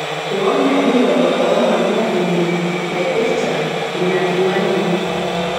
Eiwonyaki lelo oomanya ine naipirta inakimanya enye